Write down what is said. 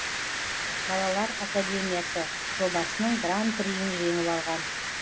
балалар академиясы жобасының гран приін жеңіп алған